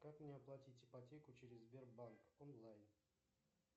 как мне оплатить ипотеку через сбербанк онлайн